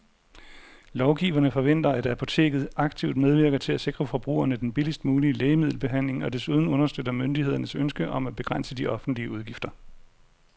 Lovgiverne forventer, at apoteket aktivt medvirker til at sikre forbrugerne den billigst mulige lægemiddelbehandling og desuden understøtter myndighedernes ønske om at begrænse de offentlige udgifter.